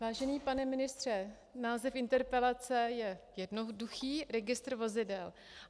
Vážený pane ministře, název interpelace je jednoduchý - registr vozidel.